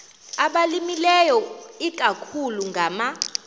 abalimileyo ikakhulu ngama